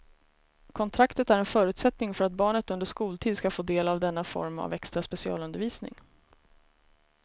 Kontraktet är en förutsättning för att barnet under skoltid ska få del av denna form av extra specialundervisning.